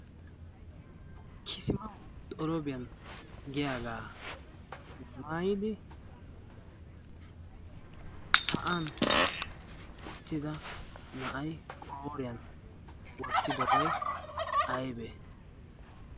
kisimau xoroobiyan giyaagaa maayidi sa'an uttida na'ay qaoriyan wottidobaiy aybee?